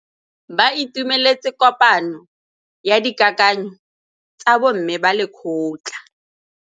Ba itumeletse kôpanyo ya dikakanyô tsa bo mme ba lekgotla.